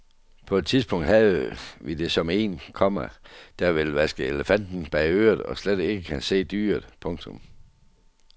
På et tidspunkt havde vi det som en, komma der vil vaske elefanten bag øret og slet ikke kan se dyret. punktum